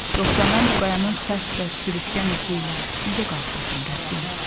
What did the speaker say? Yoxsa mən bu qayanın sərt və sürüşkən üzü ilə necə qalxardım, Rəbbim?